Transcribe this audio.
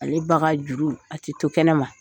Ale ba ka juru a te to kɛnɛma.